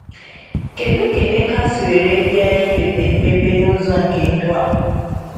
Kedu ka Emeka si were bia iweta mmepe nụzọ nke ndụ a?